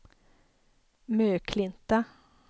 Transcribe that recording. Möklinta